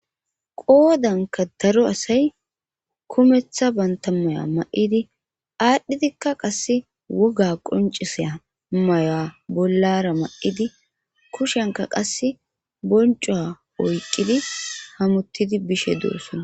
Haysanka daro asay kumeththa banta maya ma7idi aadhdhidikka qasse woga qoncisaa maya bollara ma7idi kushenka qas bonco oyqidi hamuttidi bishe doosona